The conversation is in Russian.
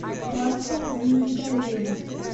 марфа минигалиева